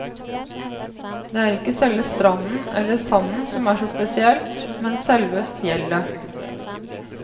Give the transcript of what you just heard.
Det er ikke selve stranden eller sanden som er så spesielt, men selve fjellet.